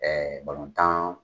Ɛɛ balontan